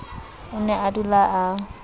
o ne a dula a